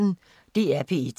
DR P1